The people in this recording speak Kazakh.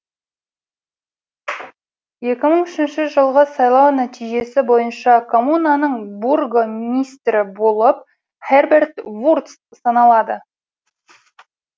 екі мың үшінші жылғы сайлау нәтижесі бойынша коммунаның бургомистрі болып херберт вурц саналады